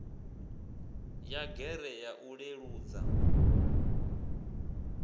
ya gear ya u leludza